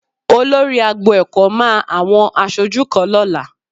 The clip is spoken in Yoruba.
Olórí agbo ẹ̀kọ́ máa àwọn aṣojú kan lọ́la